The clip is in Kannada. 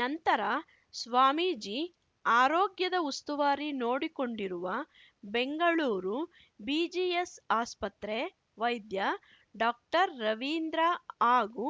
ನಂತರ ಸ್ವಾಮೀಜಿ ಆರೋಗ್ಯದ ಉಸ್ತುವಾರಿ ನೋಡಿಕೊಂಡಿರುವ ಬೆಂಗಳೂರು ಬಿಜಿಎಸ್‌ ಆಸ್ಪತ್ರೆ ವೈದ್ಯ ಡಾಕ್ಟರ್ ರವೀಂದ್ರ ಹಾಗೂ